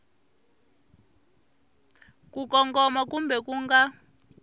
ku kongoma kumbe ku nga